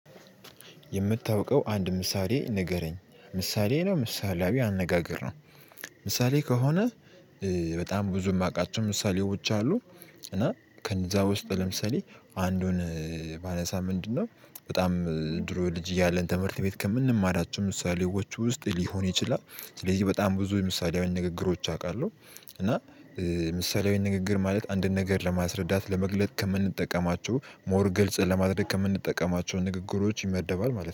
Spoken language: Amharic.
የምታውቀው አንድ ምሳሌ ንገረኝ። ምሳሌ ነው ምሳሌያዊ አነጋገር ነው? ምሳሌ ከሆነ በጣም ብዙ የማውቃቸው ምሳሌዎች አሉ። እና ከእነዛ ውስጥ ለምሳሌ አንዱን ባነሳ ምንድነው በጣም ድሮ ልጅ እያለን ትምህርት ቤት ከምንማራቸው ምሳሌዎች ውስጥ ሊሆን ይችላል። ስለዚህ በጣም ብዙ የምሳሌያዊ ንግግሮች አውቃለሁ እና ምሳሌያዊ ንግግር ማለት አንድን ነገር ለማስረዳት ለመግለጥ ከምንጠቀማቸው ሞር ግልጽ ለማድረግ ከምንጠቀማቸው ንግግሮች ይመደባል ማለት ነው።